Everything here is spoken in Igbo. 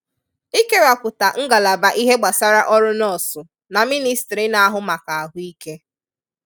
Ikewapụta ngalaba ihe gbasara ọrụ nọọsụ na mịnịstrị na-ahụ maka ahụike